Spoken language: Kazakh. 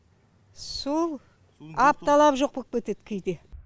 сол апталап жоқ боп кетеді кейде